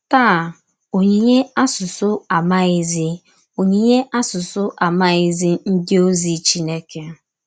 Tàá, onyìnyè àsụsụ àmàghízí onyìnyè àsụsụ àmàghízí ndí òzì Chìnékè.